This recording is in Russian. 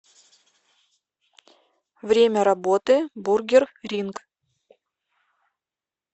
время работы бургер ринг